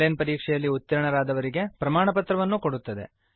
on line ಪರೀಕ್ಷೆಯಲ್ಲಿ ಉತ್ತೀರ್ಣರಾದವರಿಗೆ ಪ್ರಮಾಣಪತ್ರ ಕೊಡುತ್ತದೆ